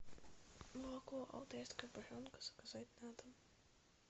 молоко алтайская буренка заказать на дом